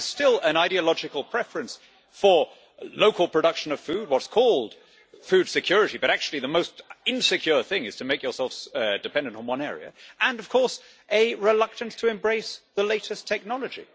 There is still an ideological preference for local production of food, what's called food security', but actually the most insecure thing is to make yourselves dependent on one area, and a reluctance to embrace the latest technology.